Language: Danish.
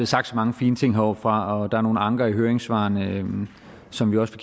sagt så mange fine ting heroppefra og der er nogle anker i høringssvarene som vi også